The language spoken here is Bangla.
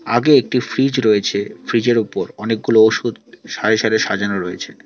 আগে একটি ফ্রিজ রয়েছে ফ্রিজের উপর অনেকগুলো ওষুধ সারি সারি সাজানো রয়েছে।